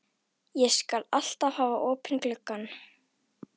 Ég skal alltaf hafa opinn gluggann.